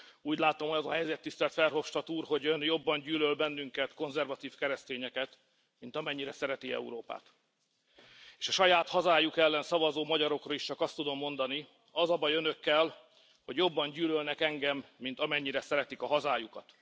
Úgy látom, hogy az a helyzet, tisztelt Verhofstadt úr, hogy Ön jobban gyűlöl bennünket, konzervatív keresztényeket, mint amennyire szereti Európát. S a saját hazájuk ellen szavazó magyarokra is csak azt tudom mondani az a baj Önökkel, hogy jobban gyűlölnek engem, mint amennyire szeretik a hazájukat.